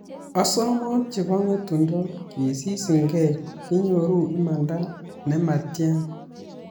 Osomok chebo ng'etundo kesisingee, kinyoru imanda en ne matyan